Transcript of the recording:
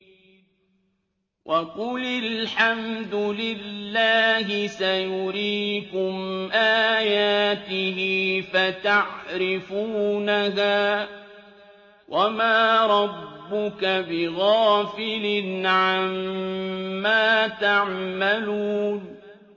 وَقُلِ الْحَمْدُ لِلَّهِ سَيُرِيكُمْ آيَاتِهِ فَتَعْرِفُونَهَا ۚ وَمَا رَبُّكَ بِغَافِلٍ عَمَّا تَعْمَلُونَ